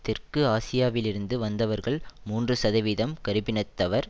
தெற்கு ஆசியாவிலிருந்து வந்தவர்கள் மூன்று சதவீதம் கறுப்பினத்தவர்